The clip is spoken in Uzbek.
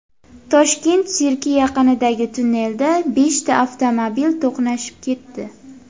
Toshkent sirki yaqinidagi tunnelda beshta avtomobil to‘qnashib ketdi.